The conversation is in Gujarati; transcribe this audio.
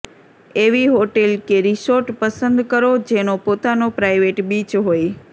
એવી હોટેલ કે રિર્સોટ પસંદ કરો જેનો પોતાનો પ્રાઇવેટ બીચ હોય